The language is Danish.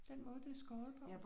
Den måde det er skåret på